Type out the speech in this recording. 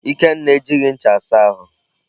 Ikenna ejighị ncha asa ahụ.